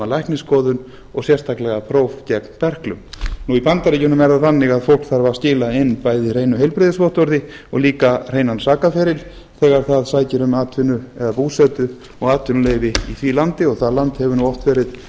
læknisskoðun og sérstaklega próf gegn berklum í bandaríkjunum er það þannig að fólk þarf að skila inn bæði hreinu heilbrigðisvottorði og líka hreinan sakaferil þegar það sækir um atvinnu eða búsetu og atvinnuleyfi í því landi og það land hefur oft verið